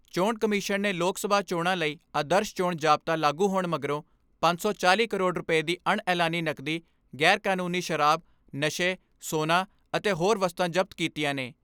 ਚੋਣ ਕਮਿਸ਼ਨ ਨੇ ਲੋਕ ਸਭਾ ਚੋਣਾਂ ਲਈ ਆਦਰਸ਼ ਚੋਣ ਜ਼ਾਬਤਾ ਲਾਗੂ ਹੋਣ ਮਗਰੋਂ ਪੰਜ ਸੌ ਚਾਲ੍ਹੀ ਕਰੋੜ ਰੁਪਏ ਦੀ ਅਣ ਐਲਾਨੀ ਨਕਦੀ, ਗੈਰਕਾਨੂੰਨੀ ਸ਼ਰਾਬ, ਨਸ਼ੇ, ਸੋਨਾ ਅਤੇ ਹੋਰ ਵਸਤਾਂ ਜ਼ਬਤ ਕੀਤੀਆਂ ਨੇ।